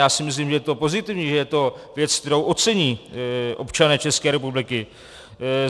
Já si myslím, že je to pozitivní, že je to věc, kterou ocení občané České republiky.